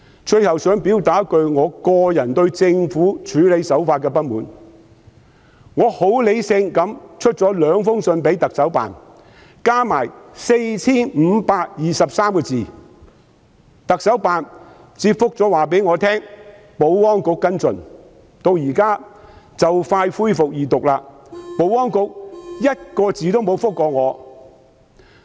我很理性地向行政長官辦公室發出兩封信函，合共 4,523 字，特首辦回覆我交由保安局跟進，但至今即將恢復二讀，保安局連一個字都沒有回覆。